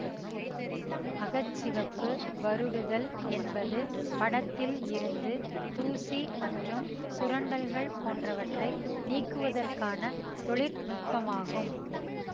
அக சிவப்பு வருடுதல் என்பது படத்தில் இருந்து தூசி மற்றும் சுரண்டல்கள் போன்றவற்றை நீக்குவதற்கான தொழிற்நுட்பமாகும்